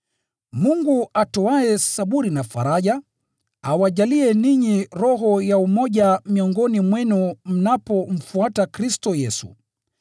Mungu atoaye saburi na faraja, awajalie ninyi roho ya umoja miongoni mwenu mnapomfuata Kristo Yesu,